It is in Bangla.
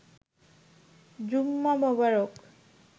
জুম্মা মোবারক